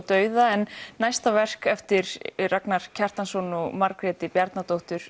dauða en næsta verk eftir Ragnar Kjartansson og Margréti